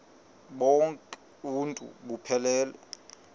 bonk uuntu buphelele